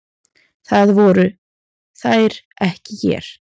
Það voru þær ekki hér.